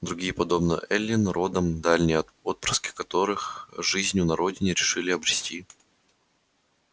другие подобно эллин принадлежали к старинным родам дальние отпрыски которых не удовлетворённые жизнью на родине решили обрести рай на чужбине